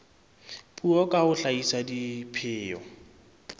puo ka ho hlahisa dipheo